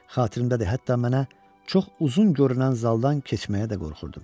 Xatirimdədir, hətta mənə çox uzun görünən zaldan keçməyə də qorxurdum.